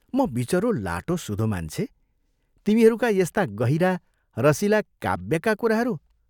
म विचरो लाटो सुधो मान्छे तिमीहरूका यस्ता गहिरा, रसिला, काव्यका कुराहरू.....